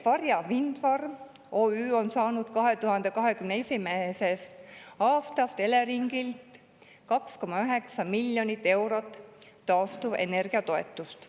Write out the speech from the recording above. Varja Windfarm OÜ on saanud 2021. aastast Eleringilt 2,9 miljonit eurot taastuvenergia toetust.